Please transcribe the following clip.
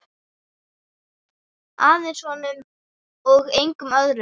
Aðeins honum og engum öðrum.